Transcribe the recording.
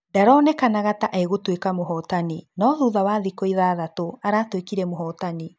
Ndaronekanaga ta egũtuĩka mũhotani no thutha wa thiku ithathatũ, aratuĩkĩre mũhotani.